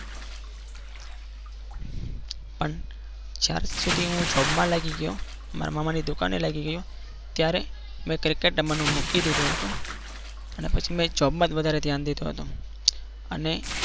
પણ જ્યાં સુધી હું જોબમાં લાગી ગયો મારા મામા ની દુકાને લાગી ગયો ત્યારે મેં cricket રમવાનું મૂકી દીધું હતું અને પછી મેં job માં જ વધારે ધ્યાન દીધું હતું અને